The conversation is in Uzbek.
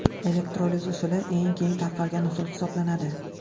Elektroliz usuli eng keng tarqalgan usul hisoblanadi.